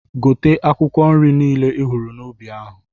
Gote akwụkwọ nri nile ihụrụ n'ubi ahụ!